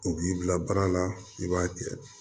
U b'i bila baara la i b'a kɛ